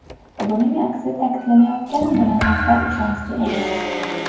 Buning aksi ta’kidlanayotgan bayonotlar ishonchli emas.